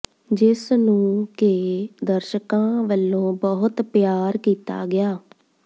ਜਿਸ ਨੂੰ ਕਿ ਦਰਸ਼ਕਾਂ ਵੱਲੋਂ ਬਹੁਤ ਪਿਆਰ ਕੀਤਾ ਗਿਆ